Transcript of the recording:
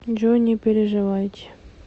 джой не переживайте